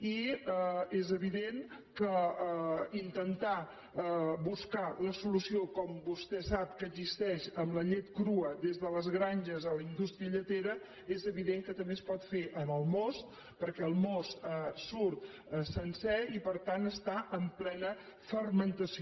i és evident que intentar buscar la solució com vostè sap que existeix amb la llet crua des de les granges a la indústria lletera és evident que també es pot fer en el most perquè el most surt sencer i per tant està en plena fermentació